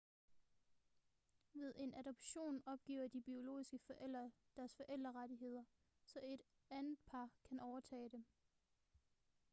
ved en adoption opgiver de biologiske forældre deres forældrerettigheder så et andet par kan overtage dem